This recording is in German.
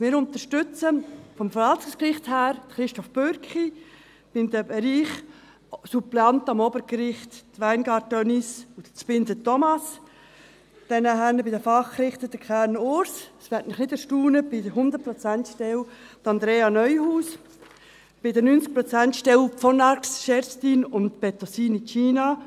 Wir unterstützen für das Verwaltungsgericht Christoph Bürki, im Bereich Suppleanten am Obergericht Weingart Denise und Zbinden Thomas, bei den Fachrichtern Kernen Urs – das wird Sie nicht erstaunen –, bei der 100Prozent-Stelle Andrea Neuhaus, bei der 90-Prozent-Stelle von Arx Kerstin und Bettosini Gina.